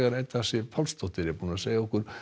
Edda Sif Pálsdóttir að segja okkur